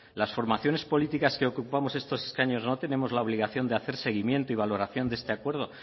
las formaciones políticas que ocupamos estos escaños no tentemos la obligación de hacer seguimiento y valoración de este acuerdo